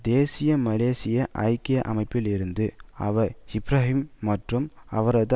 தேசிய மலேசிய ஐக்கிய அமைப்பில் இருந்து அவர் இப்ராஹிம் மற்றும் அவரது